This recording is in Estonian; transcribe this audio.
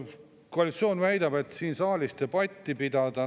Koalitsioon väidab, et siin saalis debatti pidada.